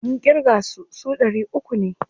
Mun ƙirga su, su ɗari uku ne.